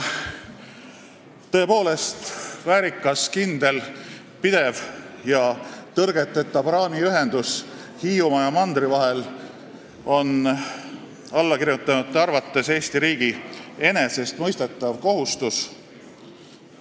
Tõepoolest, väärikas, kindel, pidev ja tõrgeteta praamiühendus Hiiumaa ja mandri vahel on allakirjutanute arvates Eesti riigi enesestmõistetav kohustus.